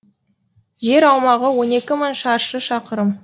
жер аумағы он екі мың шаршы шақырым